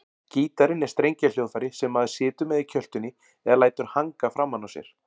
Gítarinn er strengjahljóðfæri sem maður situr með í kjöltunni eða lætur hanga framan á sér.